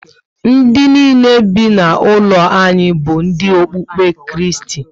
Ndị nile be na ụlo anyị bu ndi okpukpe Kristi